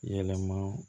Yɛlɛma